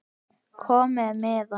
Kominn með miða?